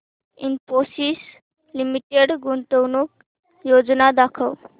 Infosys limited गुंतवणूक योजना दाखव